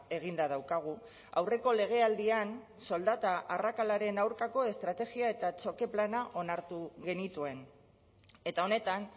eginda daukagu aurreko legealdian soldata arrakalaren aurkako estrategia eta txoke plana onartu genituen eta honetan